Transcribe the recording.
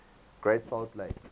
great salt lake